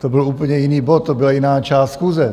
To byl úplně jiný bod, to byla jiná část schůze.